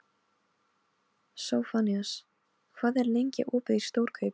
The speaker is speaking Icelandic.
Sophanías, hvað er lengi opið í Stórkaup?